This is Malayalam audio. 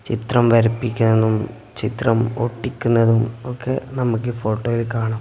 ചിത്രം വരപ്പിക്കുന്നതും ചിത്രം ഒട്ടിക്കുന്നതും ഒക്കെ നമ്മക്ക് ഈ ഫോട്ടോയിൽ കാണാം.